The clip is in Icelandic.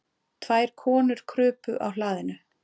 Tvær konur krupu á hlaðinu.